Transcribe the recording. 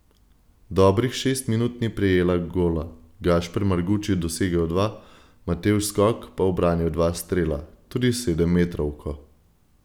Dobrih šest minut ni prejela gola, Gašper Marguč je dosegel dva, Matevž Skok pa ubranil dva strela, tudi sedemmetrovko.